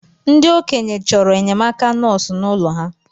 Ndi ̣okenye choro enyemaka nosu n’ụlọ ha